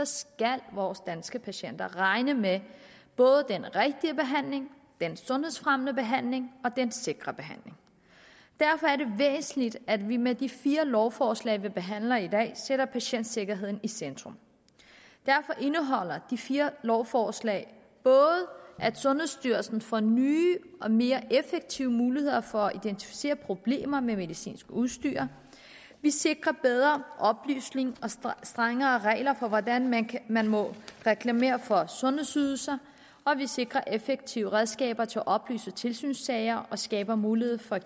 skal vores danske patienter regne med at både den rigtige behandling den sundhedsfremmende behandling og den sikre behandling derfor er det væsentligt at vi med de fire lovforslag vi behandler i dag sætter patientsikkerheden i centrum derfor indeholder de fire lovforslag både at sundhedsstyrelsen får nye og mere effektive muligheder for at identificere problemer med medicinsk udstyr at vi sikrer bedre oplysning og strengere regler for hvordan man man må reklamere for sundhedsydelser at vi sikrer effektive redskaber til oplyst tilsynssager at vi skaber mulighed for at